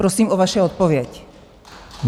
Prosím o vaši odpověď.